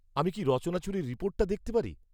আমি কি রচনাচুরির রিপোর্টটা দেখতে পারি?